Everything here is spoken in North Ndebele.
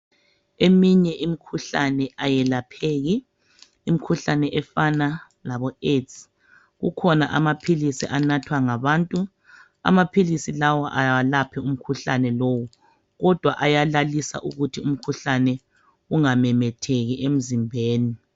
Eminye imikhuhlane ayelapheki, imikhuhlane efana labo AIDS.Kukhona amaphiisi anathwa ngabantu. Amaphilisi lawa awalaphi umkhuhlane lowo kodwa ayalalisa ukuthi umkhuhlane ungamemetheki emzimbeni.